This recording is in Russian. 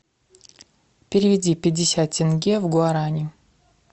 переведи пятьдесят тенге в гуарани